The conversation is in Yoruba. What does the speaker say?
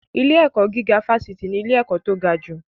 Ilé-ẹ̀kọ́ gíga fásitì ni ilé-ẹ̀kọ́ tó gajù.